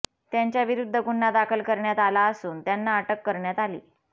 त्यांच्याविरूध्द गुन्हा दाखल करण्यात आला असून त्यांना अटक करण्यात आली